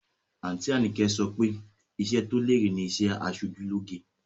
Àǹtí Àyìnkẹ́ so pé iṣẹ́ tó lérè ni iṣẹ́ aṣojú lóge